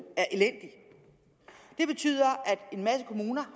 er elendig det betyder at en masse kommuner